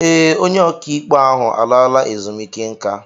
Ee, onye okaikpe ahụ alaala ezumiike nka.